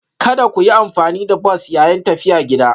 Kada ku yi amfani da bas yayin tafiya gida.